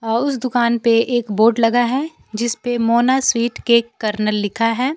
और उस दुकान पे एक बोर्ड लगा है जिसपे मोना स्वीट केक कर्नल लिखा है।